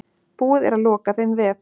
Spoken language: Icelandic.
Búið er að loka þeim vef.